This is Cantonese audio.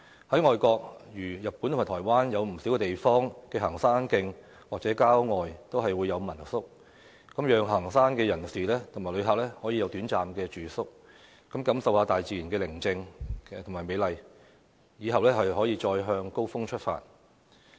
在外地，如日本和台灣，有不少地方的行山徑或郊外都會有民宿，讓行山人士及旅客有短暫住宿，感受大自然的寧靜和美麗，之後再向高峰出發。